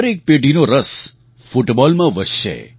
દરેક પેઢીનો રસ ફૂટબૉલમાં વધશે